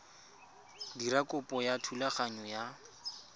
dira kopo ya thulaganyo ya